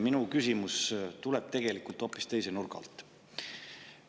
Minu küsimus tulebki tegelikult hoopis teise nurga alt.